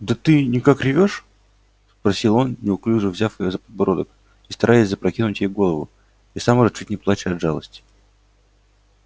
да ты никак ревёшь спросил он неуклюже взяв её за подбородок и стараясь запрокинуть ей голову и сам уже чуть не плача от жалости